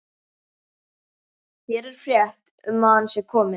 Hér er frétt um að hann sé kominn.